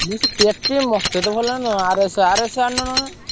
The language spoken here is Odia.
ମୁଁ ସେ KTM ମତେ ତ ଭଲ ଲାଗେନି। RS RS ଆଣୁନ ନହେଲେ।